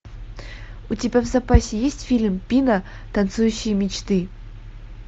у тебя в запасе есть фильм пина танцующие мечты